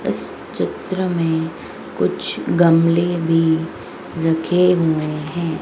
इस चित्र में कुछ गमले भी रखे हुए हैं।